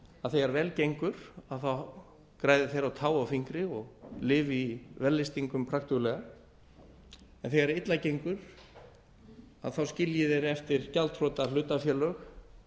að þegar vel gengur þá græði þeir á tá og fingri og lifi í vellystingum praktuglega en þegar illa gengur skilji þeir eftir gjaldþrota hlutafélög